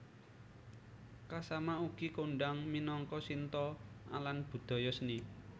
Kasama ugi kondhang minangka Shinto alan budaya seni